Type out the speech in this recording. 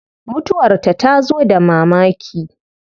Mutuwar ta tazo da mamaki